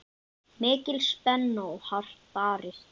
Mikil spenna og hart barist.